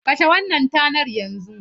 Kashe wannan tanar yanzu!